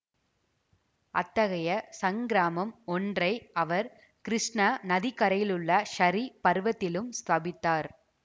அத்தகைய ஸங்கிராமம் ஒன்றை அவர் கிருஷ்ண நதிக்கரையிலுள்ள ஸரீ பர்வதத்திலும் ஸ்தாபித்தார்